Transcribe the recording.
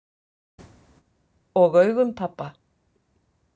Og augum pabba.